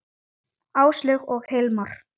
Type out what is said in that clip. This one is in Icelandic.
Áslaug og Hilmar.